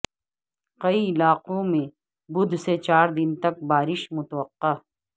کئی علاقوں میں بدھ سے چار دن تک بارش متوقع